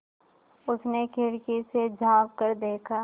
उसने खिड़की से झाँक कर देखा